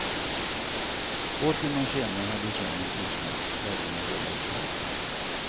Två timmar senare hade sången tystnat och flaggorna rullats ihop.